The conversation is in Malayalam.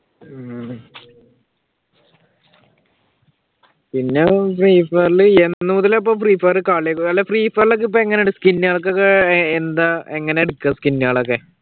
പിന്നെ ഫ്രീഫയറിൽ free fire എന്നുമുതലാ ഇപ്പൊ കളി അല്ല ഫ്രീഫയറിൽ ഒക്കെ ഇപ്പൊ എങ്ങനുണ്ട് സ്കിന്നുകൾക്കൊക്കെ എന്താ എങ്ങനാ എടുക്കുക സ്കിന്നുകളൊക്കെ?